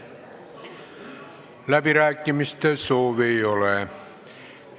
Läbirääkimiste soovi ei ole.